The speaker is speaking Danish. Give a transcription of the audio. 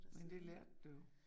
Men det lærte du jo